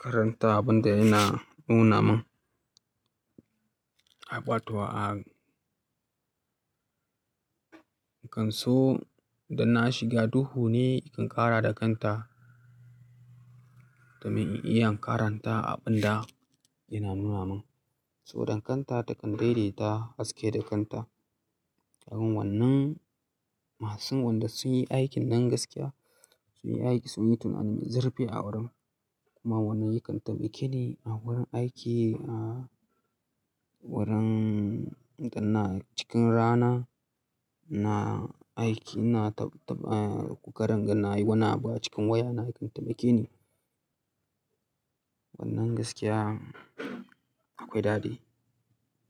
karanta abun da yana nuna min. A ƙwato a kan so da na shiga duhu ne in kan ƙara da kanta domin in iya karanta abun da yana nuna min. So dan kanta takan daidaita haske da kanta. A wun wannan masu wanda sun yi aikin nan gaskiya, sun yi aiki, sun yi tunani, zurfi a wurin kuma wannan yakan taimake ni a wurin aiki, a wurin idan na cikin rana na aiki na kukarin inga na yi wani abu a cikin waya na yakan taimake ni. Wannan gaskiya akwai daɗi.